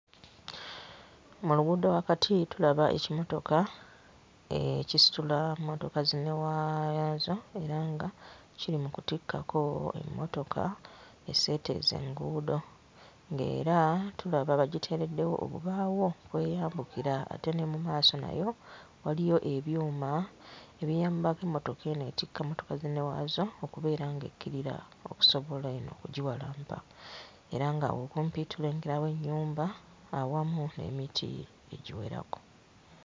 Mu luguudo wakati tulaba ekimotoka ekisitula mmotoka zinnewaazo era nga kiri mu kutikkako emmotoka esseeteeza enguudo ng'era tulaba bagiteereddewo obubaawo kweyambukira ate ne mu maaso naye waliwo ebyuma ebiyambako emmotoka eno ettika mmotoka zinnewaazo okubeera ng'ekkirira okusobola eno okugiwalampa era nga awo kumpi tulengerawo ennyumba awamu n'emiti egiwerako.